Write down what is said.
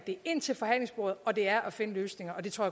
er ind til forhandlingsbordet og det er at finde løsninger og det tror